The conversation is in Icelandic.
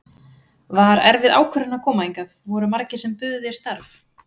Var erfið ákvörðun að koma hingað, voru margir sem buðu þér starf?